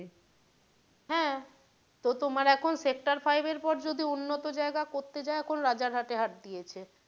হ্যাঁ তো তোমার এখন sector five এর পরে যদি উন্নত জায়গা রাজার হাট দিয়েছে।